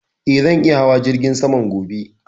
Eh, zan iya hawa jirgin saman gobe